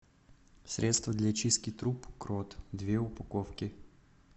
средство для чистки труб крот две упаковки